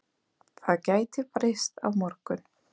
Það gæti breyst á morgun.